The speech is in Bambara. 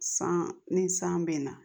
San ni san bɛ na